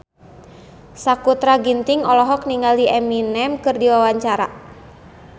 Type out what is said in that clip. Sakutra Ginting olohok ningali Eminem keur diwawancara